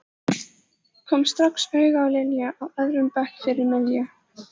Kom strax auga á Lilju á öðrum bekk fyrir miðju.